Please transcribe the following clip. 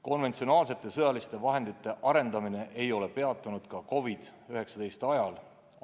Konventsionaalsete sõjaliste vahendite arendamine ei ole peatunud ka COVID-19 pandeemia ajal.